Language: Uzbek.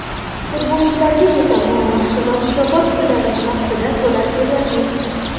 Futbolchilarga esa maosh va mukofot pullarini vaqtida to‘lab boryapmiz.